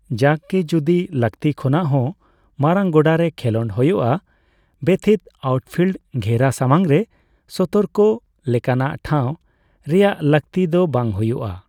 ᱡᱟᱠ ᱜᱮ, ᱡᱩᱫᱤ ᱞᱟᱹᱠᱛᱤ ᱠᱷᱚᱱᱟᱜ ᱦᱚᱸ ᱢᱟᱨᱟᱝ ᱜᱚᱰᱟ ᱨᱮ ᱠᱷᱮᱞᱳᱰ ᱦᱳᱭᱳᱜᱼᱟ, ᱵᱮᱛᱷᱤᱛ ᱟᱣᱩᱴᱯᱷᱤᱞᱰ ᱜᱷᱮᱨᱟ ᱥᱟᱢᱟᱝ ᱨᱮ ᱥᱚᱛᱚᱨᱠᱚ ᱞᱮᱠᱟᱱᱟᱜ ᱴᱷᱟᱣ ᱨᱮᱭᱟᱜ ᱞᱟᱹᱠᱛᱤ ᱫᱚ ᱵᱟᱹᱝ ᱦᱳᱭᱳᱜᱼᱟ ᱾